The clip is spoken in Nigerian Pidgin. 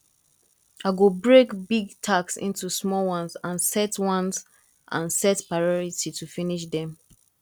i go break big task into small ones and set ones and set priority to finish them